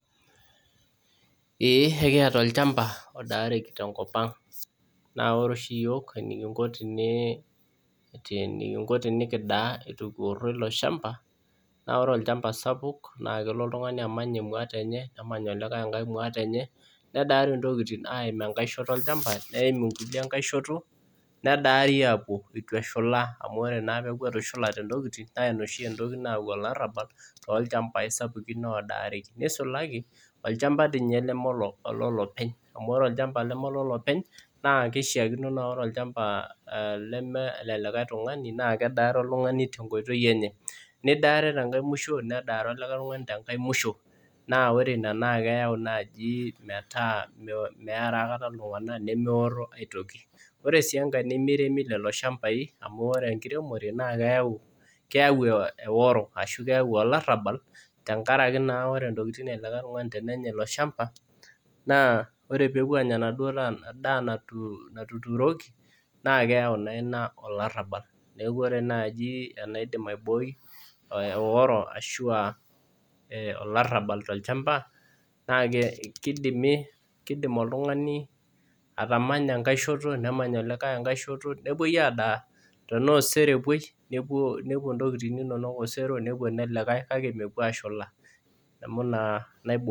Eekieta olchamba lodaareki te nkopang, naaku ore oshi yook enikinko tenikidaa eitu kiworo ilo ilchamba, naa ore ilchamba sapuk naa klo oltungani amanya engwat enye, nemany elikae engwat enye, nedaari intokitin aimu enkae shoto elchamba, neimu nkule enkae shoto, nedaari aapo eitu eshula amu ore naa peaku etushulete ntokitin, naa ins oshi entoki nayau ilarabal too ilchambai sapukin lodaareki, neisulaki olchamba ninye neme oloolopeny,a,u ore olchamba lomee le olopeny, naa keishakino naa ore ilchamba ale le liake tungani naa kedaare oltungani te nkoitoi enye, nidaare te nkae mushoo, nedaare olikae tungani te inkae mushoo, naa ore inia naaji metaa meara aikata iltunganak nemeworo aitoki, ore sii enkae nemeremi lelo ilshambaii amu ore inkiremore naaa keyau eoro ashu keyau olarabal tengaraki naa, ore entokitin elikae tungani tenennya ilo ilshamba naa ore peepuo aanya enaduo daa natuturoki, naa keyau naa ina olarabal, neaku ore naaji enaidim aibooi eoro ashu aa olarabal to ilchamba na keidimi, keidim oltungani inkae shoto, nemany olikae enkae shoto nepoi adaa tenaa osero epoi, nepuo intokitin inono nepuo nelikae kake mepuo aashula.